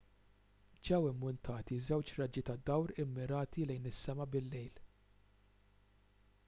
ġew immuntati żewġ raġġi ta' dawl immirati lejn is-sema bil-lejl